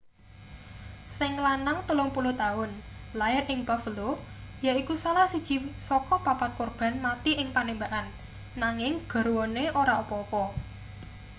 sing lanang 30 taun lair ing buffalo yaiku salah siji saka papat korban mati ing panembakan nanging garwane ora apa-apa